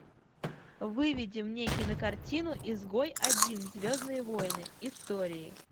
выведи мне кинокартину изгой один звездные войны истории